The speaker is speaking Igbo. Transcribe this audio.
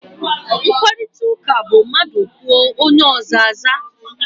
Mkparịtaụka bụ mmadụ kwuo, onye ọzọ aza.